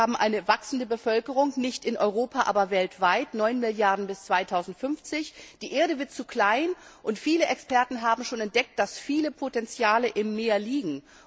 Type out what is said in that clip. Wir haben eine wachsende Bevölkerung, nicht in Europa, aber weltweit 9 Milliarden bis zum Jahr 2050. Die Erde wird zu klein, und viele Experten haben schon entdeckt, dass viele Potenziale im Meer liegen.